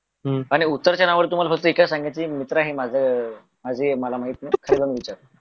आणि उत्तराच्या नावावर तुम्हाला फक्तएकच सांगायचे मित्र आहे माझा माझे मला माहित नाही